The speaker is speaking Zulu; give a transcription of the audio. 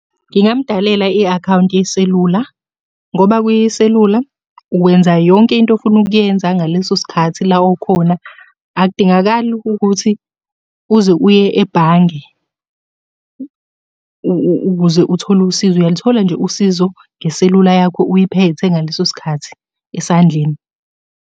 Ngingamudalela i-akhawunti yeselula, ngoba kwiselula, wenza yonke into ofuna ukuyenza ngaleso sikhathi la okhona. Akudingakali ukukuthi uze uye ebhange ukuze uthole usizo uyaluthola nje usizo ngeselula yakho uyiphethe ngaleso sikhathi esandleni.